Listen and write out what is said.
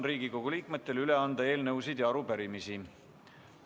Riigikogu liikmetel on võimalus üle anda eelnõusid ja arupärimisi.